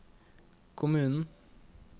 kommunen